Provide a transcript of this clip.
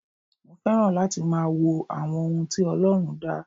Mo fẹ́ràn láti máa wo àwọn ohun tí Ọlọ́run dá.